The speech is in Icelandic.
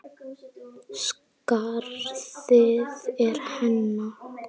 Skarðið er hennar.